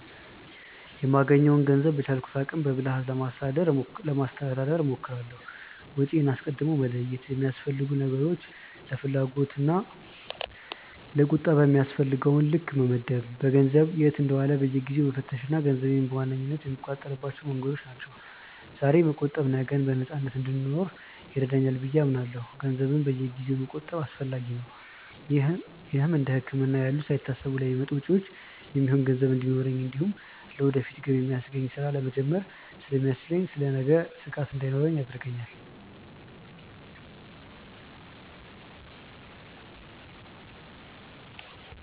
የማገኘውን ገንዘብ በቻልኩት አቅም በብልሃት ለማስተዳደር ለማስተዳደር እሞክራለሁ። ወጪዬን አስቀድሞ መለየት፣ ለሚያስፈልጉ ነገሮች፣ ለፍላጎት እና ለቁጠባ በሚያስፈልገው ልክ መመደብ፣ ገንዘቡ የት እንደዋለ በየጊዜው መፈተሽ ገንዘቤን በዋነኝነት የምቆጣጠርባቸው መንገዶች ናቸው። ዛሬ መቆጠብ ነገን በነፃነት እንድኖር ይረዳኛል ብዬ አምናለሁ። ገንዘብን በየጊዜው መቆጠብ አስፈላጊ ነው። ይህም እንደ ህክምና ያሉ ሳይታሰቡ ለሚመጡ ወጪዎች የሚሆን ገንዘብ እንዲኖረኝ እንዲሁም ለወደፊት ገቢ የሚያስገኝ ስራ ለመጀመር ስለሚያስችለኝ ስለ ነገ ስጋት እንዳይኖርብኝ ያደርጋል።